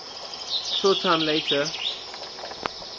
short time later